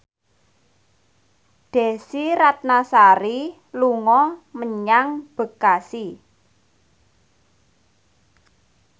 Desy Ratnasari dolan menyang Bekasi